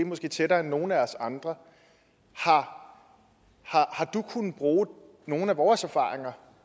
tættere end nogen af os andre har du kunnet bruge nogen af vores erfaringer